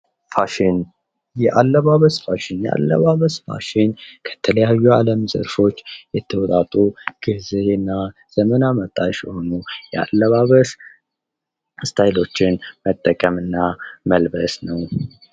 ፋሽን፦ የአለባበስ ፋሽን፦ አለባበስ ፋሽን ከተለያዩ የዓለም ዘርፎች የተውጣጡ ጊዜና ዘመን አመጣሽ ስታይሎችን መጠቀም እና መልበስ ነው